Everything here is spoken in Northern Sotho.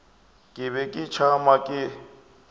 ke be ke tšama ke